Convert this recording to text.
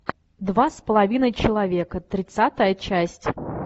два с половиной человека тридцатая часть